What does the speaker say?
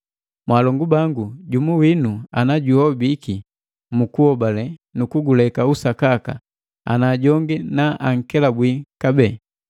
Mwaalongu bangu, jumu winu ana juhobiki mu kuhobale nu kuguleka usakaka, ana jongi na ankelabwi kabee,